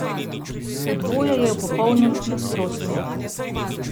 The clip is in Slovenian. To dvoje je v popolnem nasprotju.